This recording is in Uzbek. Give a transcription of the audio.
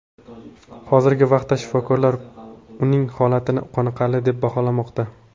Hozirgi vaqtda shifokorlar uning holatini qoniqarli deb baholamoqda.